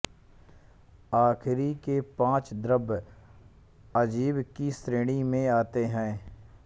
आख़री के पाँच द्रव्य अजीव की श्रेणी में आते है